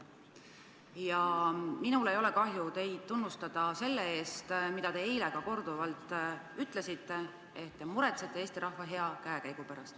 Ja minul ei ole kahju teid tunnustada selle eest, mida te eile ka korduvalt ütlesite, et te muretsete Eesti rahva hea käekäigu pärast.